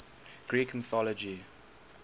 greek mythology